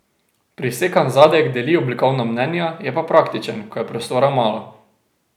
Prisekan zadek deli oblikovna mnenja, je pa praktičen, ko je prostora malo.